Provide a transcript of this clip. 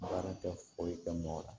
Baara tɛ foyi kɛ mɔgɔ la